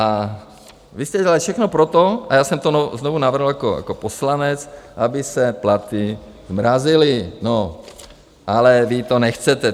A vy jste dělali všechno pro to - a já jsem to znovu navrhl jako poslanec, aby se platy zmrazily - ale vy to nechcete.